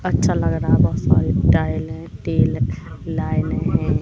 अच्छा लग रहा है बहुत सारी टाइल है तेल लाइनें हैं।